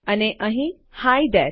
અને અહીં hi there